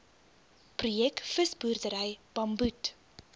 projek visboerdery bamboed